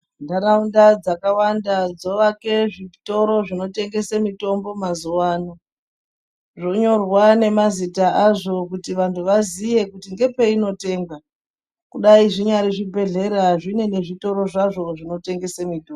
Ntaraunda dzakawanda dzovake zvitoro zvinotengese mitombo mazuvano zvonyorwe nemazita azvo kuti vantu vaziye kuti ndepeinotengwa kudai zvinyari zvibhedhleya zvine nezvitoro zvazvo zvinotengese mitombo.